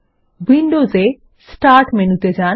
ইভিন্ডোজ এ স্টার্ট মেনুতে যান